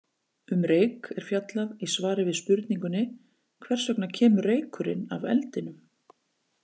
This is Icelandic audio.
Um reyk er fjallað í svari við spurningunni Hvers vegna kemur reykurinn af eldinum?